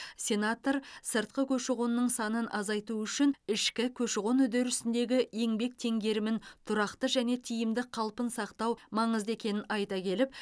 сенатор сыртқы көші қонның санын азайту үшін ішкі көші қон үдерісіндегі еңбек теңгерімін тұрақты және тиімді қалпын сақтау маңызды екенін айта келіп